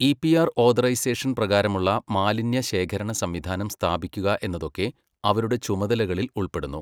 E P R authorisation പ്രകാരമുള്ള മാലിന്യ ശേഖരണ സംവിധാനം സ്ഥാപിക്കുക എന്നതൊക്കെ അവരുടെ ചുമതലകളിൽ ഉൾപ്പെടുന്നു.